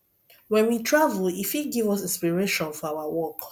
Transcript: when we travel e fit give us inspiration for our work